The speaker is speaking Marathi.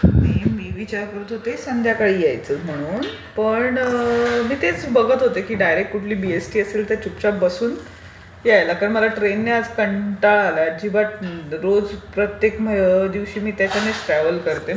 मी विचार करत होते संध्याकाळी यायचं म्हणून पण मी तेच बघत होते की डायरेक्ट कुठली बीईएसटी असेल तर चुपचाप बसून यायला कारण माला ट्रेनने याला आज कंटाळा आलाय बट रोज प्रत्येक दिवशी मी त्याच्यानेच प्रवास करते.